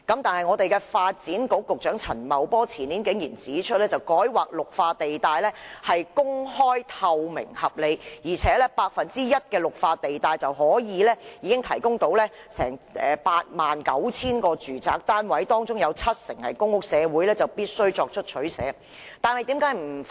可是，發展局局長陳茂波前年竟然指出，改劃綠化地帶是公開、透明、合理的，而且僅 1% 的綠化地帶便可提供 89,000 個住宅單位，而且其中七成是公屋，社會必須作出取捨。